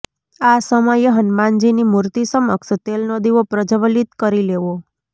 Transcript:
આ સમયે હનુમાનજીની મૂર્તિ સમક્ષ તેલનો દીવો પ્રજ્વલિત કરી લેવો